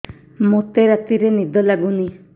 ମୋତେ ରାତିରେ ନିଦ ଲାଗୁନି